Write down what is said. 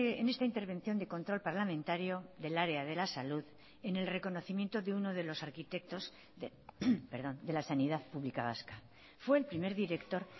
en esta intervención de control parlamentario del área de la salud en el reconocimiento de uno de los arquitectos de la sanidad pública vasca fue el primer director